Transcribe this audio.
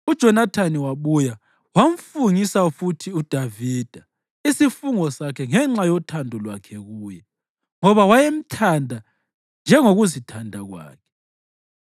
UJonathani wabuya wamfungisa futhi uDavida isifungo sakhe ngenxa yothando lwakhe kuye, ngoba wayemthanda njengokuzithanda kwakhe.